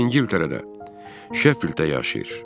O İngiltərədə, Şeffilddə yaşayır.